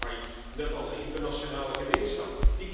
Het is failliet, net als de internationale gemeenschap.